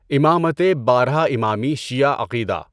امامتِ باره امامی شیعہ عقیدہ